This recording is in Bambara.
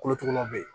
Kolotugulaw bɛ yen